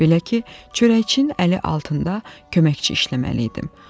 Belə ki, çörəkçinin əli altında köməkçi işləməliydim.